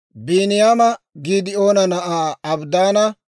Biiniyaama Giidi'oona na'aa Abidaana,